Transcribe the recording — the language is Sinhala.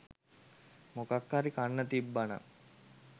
මොකක් හරි කන්න තිබ්බනම්